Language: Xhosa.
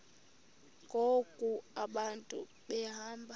ngoku abantu behamba